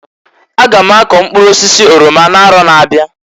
A ga m akọ mkpụrụ osisi orama na arọ na abịa.